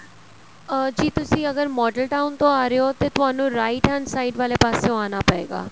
ਅਹ ਜੀ ਤੁਸੀਂ ਅਗਰ model town ਤੋਂ ਆ ਰਹੇ ਹੋ ਤੇ ਤੁਹਾਨੂੰ right hand side ਵਾਲੇ ਪਾਸੋ ਆਣਾ ਪਏਗਾ